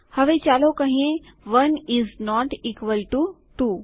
હવે ચાલો કહીએ ૧ ઈઝ નોટ ઇકવલ ટુ ૨